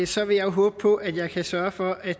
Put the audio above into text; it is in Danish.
og så vil jeg håbe på at jeg kan sørge for at